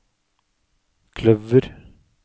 kløver